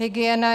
Hygiena.